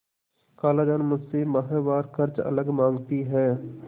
खालाजान मुझसे माहवार खर्च अलग माँगती हैं